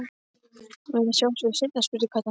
Megum við sjá þau seinna? spurði Kata.